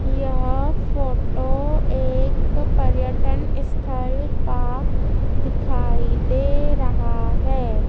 यह फोटो एक पर्यटन स्थल का दिखाई दे रहा है।